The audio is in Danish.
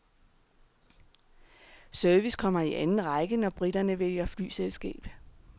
Service kommer i anden række, når briterne vælger flyselskab.